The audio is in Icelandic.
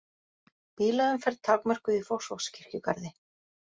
Bílaumferð takmörkuð í Fossvogskirkjugarði